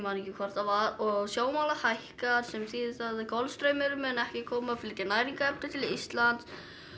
man ekki hvort það var og sjávarmálið hækkar sem þýðir það að Golfstraumurinn mun ekki koma og flytja næringarefni til Íslands